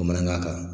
Bamanankan kan